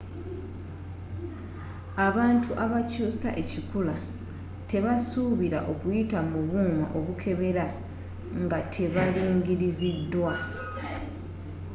abantu abaakyuusa ekikula tebasuubira okuyita mu buuma obukebera nga tebalingiriziddwa